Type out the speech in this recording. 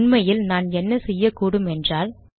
உண்மையில் நான் என்ன செய்யக்கூடும் என்றால்